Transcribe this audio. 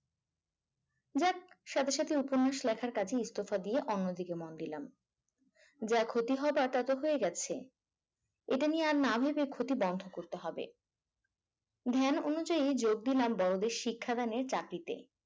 যাক সাথে সাথে উপন্যাস লেখার কাজে ইস্তফা দিয়ে অন্যদিকে মন দিলাম যা ক্ষতি হবার তা তো হয়ে গেছে এটা নিয়ে আর না ভেবে ক্ষতি বন্ধ করতে হবে। ধ্যান অনুযায়ী যোগ দিলাম বড়দের শিক্ষাদানের চাকরিতে